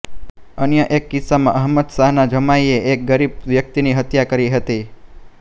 અન્ય એક કિસ્સામાં અહમદશાહના જમાઈએ એક ગરીબ વ્યક્તિની હત્યા કરી હતી